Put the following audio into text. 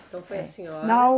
Então foi a senhora. Não